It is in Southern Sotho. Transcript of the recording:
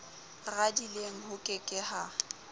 radileng ho ke ke ha